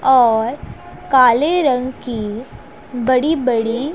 और काले रंग की बड़ी बड़ी--